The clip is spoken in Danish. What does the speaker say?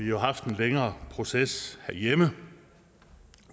jo haft en længere proces herhjemme